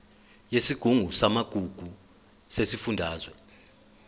yesigungu samagugu sesifundazwe